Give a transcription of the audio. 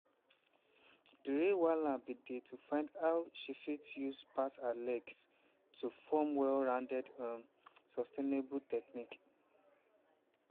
di real wahala bin dey to find how she fit use pass her legs to form well rounded um sustainable technique.